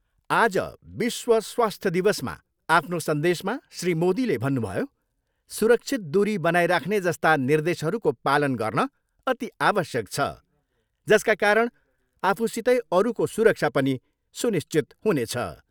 आज विश्व स्वास्थ्य दिवसमा आफ्नो संदेशमा श्री मोदीले भन्नुभयो, सुरक्षित दुरी बनाइराख्ने जस्ता निर्देशहरूको पालन गर्न अति आवश्यक छ जसका कारण आफूसितै अरूको सुरक्षा पनि सुनिश्चित हुनेछ।